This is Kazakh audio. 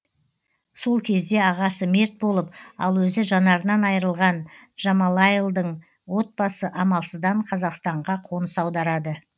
сол кезде ағасы мерт болып ал өзі жанарынан айырылған джамалайлдың отбасы амалсыздан қазақстанға қоныс аударады